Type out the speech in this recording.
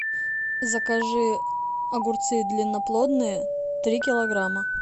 закажи огурцы длинноплодные три килограмма